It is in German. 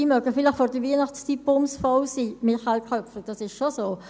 Sie mögen vielleicht in der Vorweihnachtszeit bumsvoll sein, Michael Köpfli, das ist schon so.